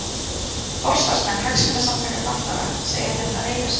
Forsvarsmenn hagsmunasamtaka fatlaðra segja þetta reiðarslag